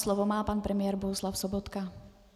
Slovo má pan premiér Bohuslav Sobotka.